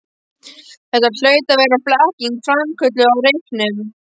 Þetta hlaut að vera blekking, framkölluð af reyknum.